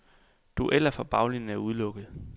Dueller fra baglinjen er udelukket.